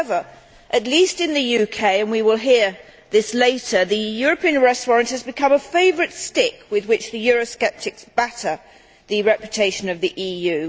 However, in the UK at least, and we will hear this later, the European Arrest Warrant has become a favourite stick with which the Eurosceptics batter the reputation of the EU.